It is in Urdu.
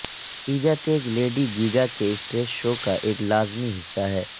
ایجاتج لیڈی گیگا کے اسٹیج شو کا ایک لازمی حصہ ہے